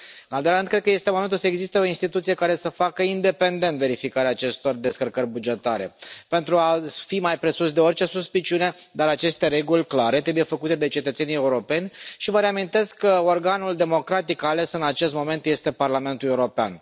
În al doilea rând, cred că este momentul să existe o instituție care să facă independent verificarea acestor descărcări bugetare, pentru a fi mai presus de orice suspiciune, dar aceste reguli clare trebuie făcute de cetățenii europeni și vă reamintesc că organul democratic ales în acest moment este Parlamentul European.